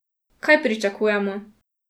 Kaj pričakujemo?